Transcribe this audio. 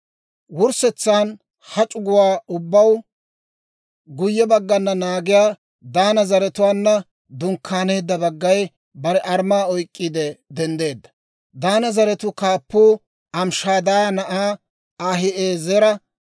Wurssetsan, ha c'uguwaa ubbaw guyye baggan naagiyaa Daana zaratuwaanna dunkkaaneedda baggay bare armmaa oyk'k'iide denddeedda. Daana zaratuu kaappuu Amishadaaya na'aa Ahi'eezera;